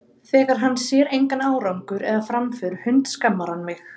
Þegar hann sér engan árangur eða framför hundskammar hann mig.